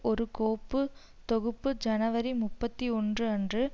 ஒரு கோப்பு தொகுப்பு ஜனவரி முப்பத்தி ஒன்று அன்று